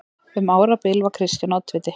Um árabil var Kristján oddviti.